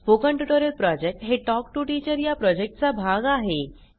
spoken tutorial project हे talk to teacher या प्रॉजेक्टचा भाग आहे